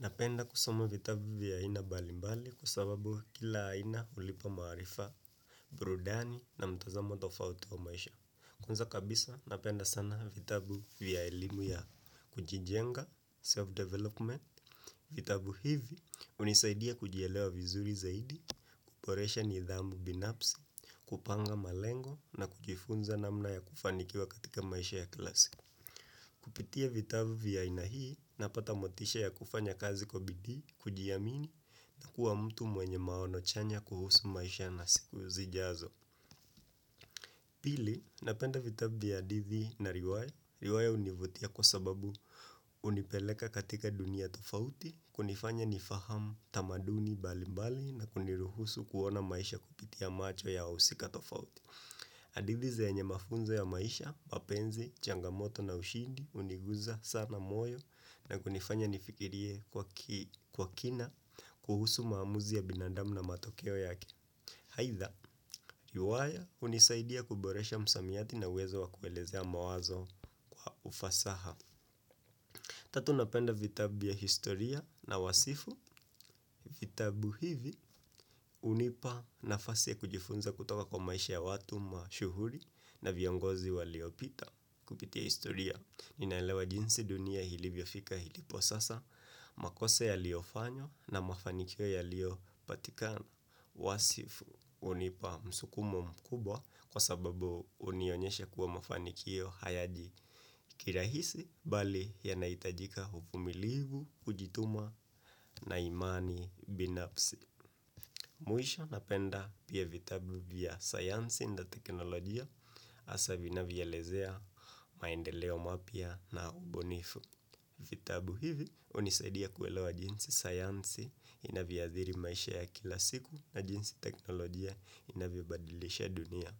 Napenda kusoma vitabu vya aina mbalimbali kwa sababu kila aina hulipa maarifa, burudani na mtazamo tofauti wa maisha. Kwanza kabisa napenda sana vitabu vya elimu ya kujijenga, self-development, vitabu hivi, hunisaidia kujielewa vizuri zaidi, kuboresha nidhamu binafsi, kupanga malengo na kujifunza namna ya kufanikiwa katika maisha ya kila siku. Kupitia vitabu vya aina hii napata motisha ya kufanya kazi kwa bidii, kujiamini na kuwa mtu mwenye maono chanya kuhusu maisha na siku zijazo. Pili, napenda vitabu vya hadithi na riwaya. Riwaya hunivutia kwa sababu hunipeleka katika dunia tofauti, kunifanya nifahamu tamaduni mbalimbali na kuniruhusu kuona maisha kupitia macho ya wahusika tofauti. Hadithi zenye mafunzo ya maisha, mapenzi, changamoto na ushindi huniguza sana moyo na kunifanya nifikirie kwa kina kuhusu maamuzi ya binadamu na matokeo yake. Aidha, riwaya hunisaidia kuboresha msamiati na uwezo wa kuelezea mawazo kwa ufasaha. Tatu napenda vitabu ya historia na wasifu, vitabu hivi hunipa nafasi ya kujifunza kutoka kwa maisha ya watu mashuhuri na viongozi waliopita. Kupitia historia, ninaelewa jinsi dunia ilivyofika ilipo sasa, makosa yaliyofanywa na mafanikio yaliyopatikana, wasifu hunipa msukumo mkubwa kwa sababu hunionyesha kuwa mafanikio hayaji kirahisi bali yanahitajika uvumilivu, kujituma na imani binafsi. Mwisho napenda pia vitabu vya sayansi na teknolojia hasa vinavyoelezea maendeleo mapya na ubunifu. Vitabu hivi hunisaidia kuelewa jinsi sayansi inavyoathiri maisha ya kila siku na jinsi teknolojia inavyobadilisha dunia.